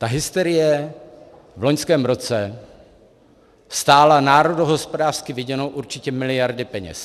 Ta hysterie v loňském roce stála národohospodářsky viděno určitě miliardy peněz.